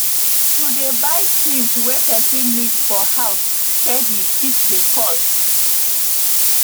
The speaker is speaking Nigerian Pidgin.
to dey buy things wey person need for house steady fit dey cost